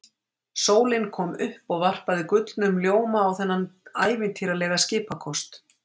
Sólin kom upp og varpaði gullnum ljóma á þennan ævintýralega skipakost.